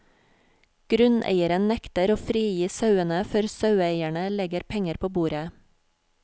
Grunneieren nekter å frigi sauene før saueeierne legger penger på bordet.